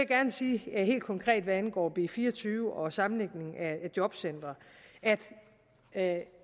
gerne sige helt konkret hvad angår b fire og tyve om sammenlægningen af jobcentre at